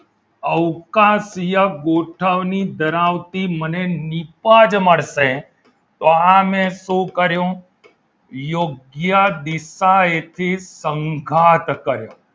અવકાશીય ગોઠવણી ધરાવતી મને નીપજ મળશે તો આ મેં શું કર્યું? યોગ્ય દિશા એથી સંગાથ કર્યો